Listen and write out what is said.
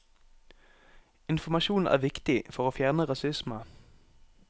Informasjon er viktig for å fjerne rasisme.